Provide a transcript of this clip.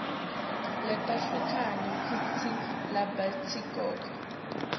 letehlukene kutsi labatitekako